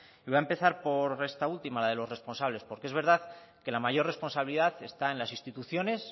voy a empezar por esta última de los responsables porque es verdad que la mayor responsabilidad está en las instituciones